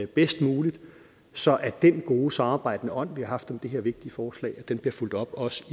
bedst muligt så den gode samarbejdende ånd vi har haft om det her vigtige forslag bliver fulgt op også